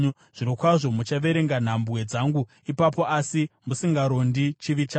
Zvirokwazvo muchaverenga nhambwe dzangu ipapo, asi musingarondi chivi changu.